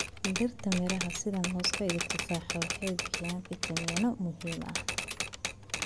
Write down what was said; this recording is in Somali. Dhirta miraha sida mooska iyo tufaaxa waxay bixiyaan fiitamiinno muhiim ah.